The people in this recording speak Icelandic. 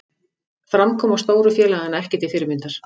Framkoma stóru félaganna ekki til fyrirmyndar